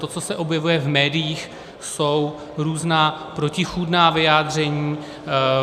To, co se objevuje v médiích, jsou různá protichůdná vyjádření.